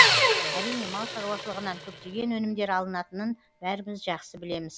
әрине мал шаруашылығынан көптеген өнімдер алынатынын бәріміз жақсы білеміз